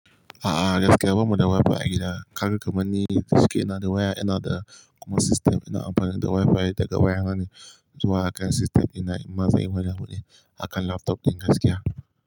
A'a, gaskiya bamu da Wi-Fi a gida. Kaga kamanni da shike ina da waya ina da kuma sistem, ina amfani da Wi-Fi daga waya na ne, zuwa akan sistem ɗina, in ma zan yi wani abune akan laptop ɗin gaskiya.